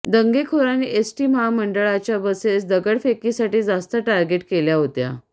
दंगेखोरांनी ST महामंडळाच्या buses दगडफेकीसाठी जास्त टार्गेट केल्या होत्या